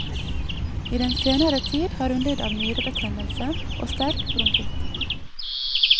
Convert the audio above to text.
I den senere tid har hun lidd av nyrebetennelse og sterk bronkitt.